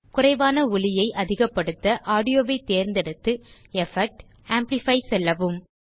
குறைவான ஒலியை அதிகப்படுத்த ஆடியோ ஐ தேர்ந்தெடுத்து எஃபெக்ட் ஜிடிஜிடி ஆம்ப்ளிஃபை செல்லவும்